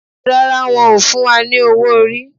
Rárá, won o fún wa ní owó orí